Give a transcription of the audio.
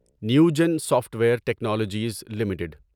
Newgen software technologies limited